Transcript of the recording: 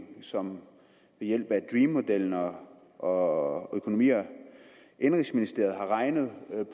som ved hjælp af dream modellen og og økonomi og indenrigsministeriet har regnet